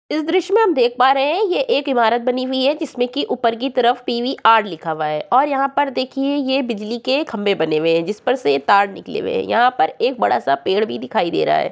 इस दृश्य में हम देख पा रहे हैं ये एक इमारत बनी हुई है जिसमें की ऊपर की तरफ पीवीआर लिखा हुआ है और यहाँ पर देखिए ये बिजली के खम्भे बने हुए हैं जिसपर तार निकले हुए हैं यहाँ पर बड़ा सा पेड़ भी दिखाई दे रहा है।